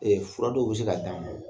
Ee fura dɔw bɛ se ka d'a ma